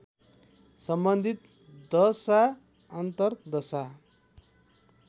सम्बन्धित दशा अन्तरदशा